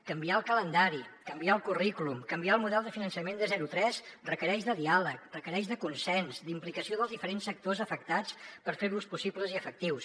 canviar el calendari canviar el currículum canviar el model de finançament de zero tres requereix diàleg requereix consens implicació dels diferents sectors afectats per fer los possibles i efectius